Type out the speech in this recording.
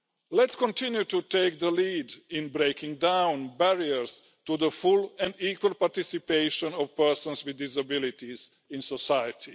Let's continue to take the lead in breaking down barriers to the full and equal participation of persons with disabilities in society.